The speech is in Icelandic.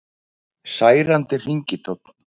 Særandi hringitónn